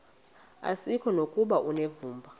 asikuko nokuba unevumba